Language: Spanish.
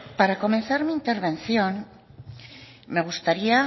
para comenzar mi intervención me gustaría